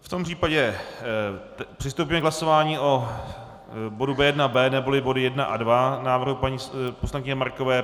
V tom případě přistoupíme k hlasování o bodu B1.B - neboli body 1 a 2 návrhu paní poslankyně Markové.